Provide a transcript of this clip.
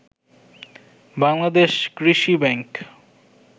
বাংলাদেশ কৃষি ব্যাংক